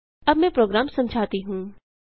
अब मैं प्रोग्राम समझाती हूँ